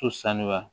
To sanuya